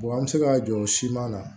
an bɛ se ka jɔ o siman na